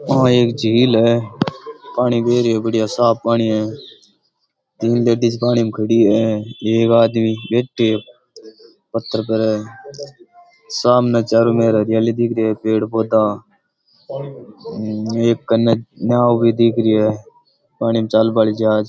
आं एक झील है पानी दे रही है बड़िया साफ पानी है तीन लेडीज़ पानी में खड़ी हैं एक आदमी बैठे हैं पत्थर पर सामने चारों मेर हरियाली दिख रही है पेड़ पौधां एक कन्ने नाव भी दिख री है पानी मै चाल बाली जहाज।